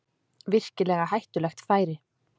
Virkilega hættulegt færi